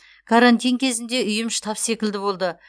карантин кезінде үйім штаб секілді болды